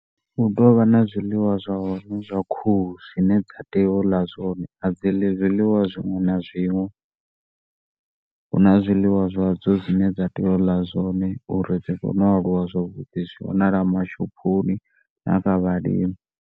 Hu tou vha na zwiliwa zwa hone zwa khuhu zwine dza tea uḽa zwone adzi ḽi zwiḽiwa zwiṅwe na zwiṅwe. Huna zwiḽiwa zwa dzo zwine dza tea u ḽa zwone uri dzi kone u a luwa zwavhuḓi zwi wanala mashophoni na kha vhalimi.